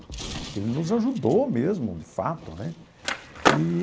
Porque ele nos ajudou mesmo, de fato, né? Eee.